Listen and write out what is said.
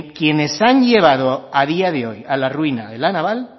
quienes han llevado a día de hoy a la ruina a la naval